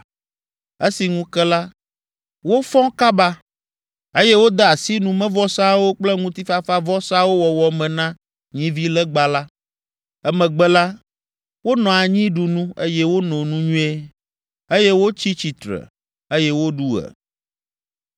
Esi ŋu ke la, wofɔ kaba, eye wode asi numevɔsawo kple ŋutifafavɔsawo wɔwɔ me na nyivilegba la. Emegbe la, wonɔ anyi ɖu nu, eye wono nu nyuie, eye wotsi tsitre, eye woɖu ɣe.